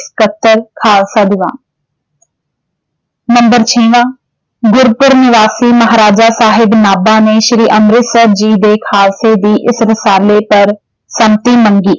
ਸਕੱਤਰ ਖਾਲਸਾ ਦੀਵਾਨ ਨੰਬਰ ਛੇਵਾਂ ਗੁਰਪੁਰ ਨਿਵਾਸੀ ਮਹਾਰਾਜਾ ਸਾਹਿਬ ਨਾਭਾ ਨੇ ਸ਼੍ਰੀ ਅੰਮ੍ਰਿਤਸਰ ਜੀ ਦੇ ਖਾਲਸੇ ਦੀ ਇਸ ਰਸਾਲੇ ਪਰ ਸੰਮਤੀ ਮੰਗੀ